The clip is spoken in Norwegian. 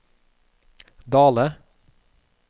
Dale